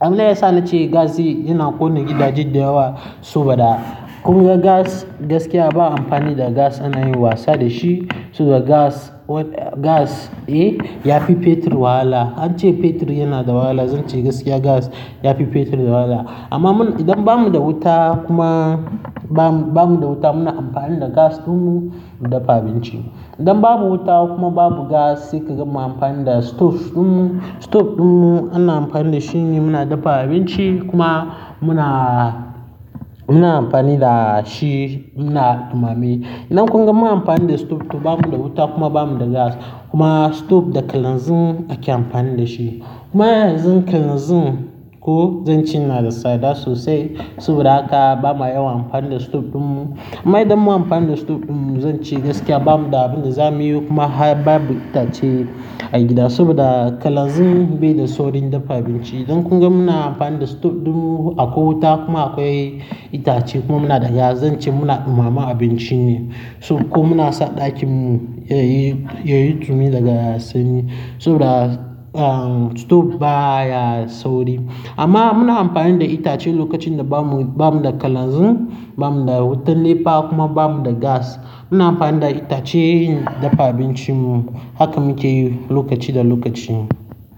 Abin da ya sa na ce gas yana ƙone gidaje da yawa saboda kun ga gas gaskiya ba amfani da gas ana yin wasa da shi saboda gas, gas, eh, yafi fetur wahala. An ce fetur yana da wahala, zan ce gaskiya gas yafi fetur wahala. Amma mun, idan ba mu da wuta kuma ba mu, ba mu da wuta muna amfani da gas ɗinmu mu daffa abinci. Idan babu wuta kuma babu gas zai kai ga mu amfani da stove ɗinmu. Stove ɗinmu ana amfani da shi ne muna daffa abinci kuma muna, muna amfani da shi muna dumame. Idan kun ga mun amfani da stove to ba mu da wuta kuma ba mu da gas. Kuma stove da kalanzin ake amfani da shi. Kuma yanzu kalanzin ko zan ce na da tsada sosai saboda haka ba ma yawa amfani da stove ɗinmu. Amma idan mun amfani da stove ɗinmu zan ce gaskiya ba mu da abin da za mu yi kuma ba mu da itace a gida saboda kalanzin bai da saurin daffa abinci. Idan kun ga muna amfani da stove ɗinmu akwai wuta kuma akwai itace kuma muna da gas zan ce muna dumama abinci ne. Ko muna sa ɗakinmu yayi, yayi dumi daga sanyi saboda, ah, stove baya sauri. Amma muna amfani da itace lokacin da ba mu, ba mu da kalanzin, ba mu da wutar nefa kuma ba mu da gas. Muna amfani da itace yin daffa abincinmu. Haka muke yi lokaci da lokaci.